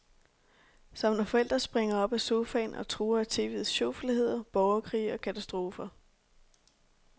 Som når forældre springer op af sofaen og truer af TVets sjofelheder, borgerkrige og katastrofer.